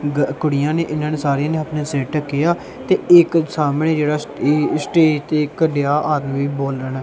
ਗ ਕੁੜੀਆਂ ਨੇਂ ਇਹਨਾਂ ਨੇ ਸਾਰਿਆਂ ਨੇਂ ਅਪਨੇ ਸਿਰ ਢੱਕੇ ਆਂ ਤੇ ਇੱਕ ਸਾਹਮਣੇ ਜਿਹੜਾ ਇਹ ਸਟੇਜ ਤੇ ਇੱਕ ਗਿਆ ਆਦਮੀ ਬੋਲਣਾ--